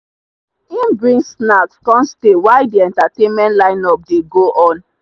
him bring snacks come stay while the entertainment lineup dey go on.